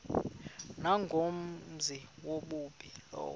nangumenzi wobubi lowo